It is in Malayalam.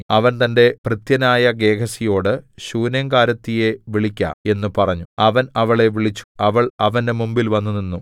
അവൻ തന്റെ ഭൃത്യനായ ഗേഹസിയോട് ശൂനേംകാരത്തിയെ വിളിക്ക എന്ന് പറഞ്ഞു അവൻ അവളെ വിളിച്ചു അവൾ അവന്റെ മുമ്പിൽ വന്നുനിന്നു